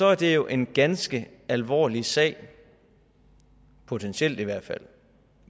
er det jo en ganske alvorlig sag potentielt i hvert fald